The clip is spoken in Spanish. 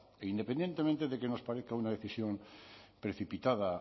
e independientemente de que nos parezca una decisión precipitada